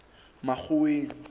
makgoweng